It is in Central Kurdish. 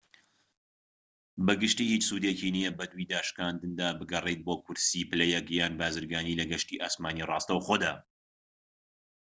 بە گشتی هیچ سودێکی نیە بەدووی داشکاندندا بگەڕێیت بۆ کورسیی پلە یەك یان بازرگانی لە گەشتی ئاسمانیی ڕاستەوخۆدا